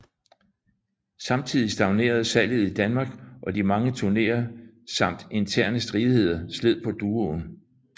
Samtidig stagnerede salget i Danmark og de mange turneer samt interne stridigheder sled på duoen